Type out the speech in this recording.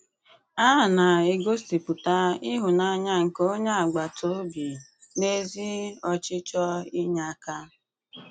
A na-egosipụta ìhụ́nanyà nke onye agbatà obi na ezi ọchịchọ̀ ínyè aka.